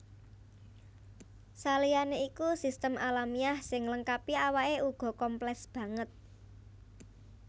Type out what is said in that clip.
Saliyané iku sistem alamiah sing nglengkapi awake uga komplès banget